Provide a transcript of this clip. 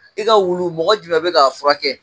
I ka wulu mɔgɔ jumɛn bɛ k'a furakɛ ?